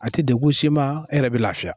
A ti dekun s'i ma, e yɛrɛ be lafiya.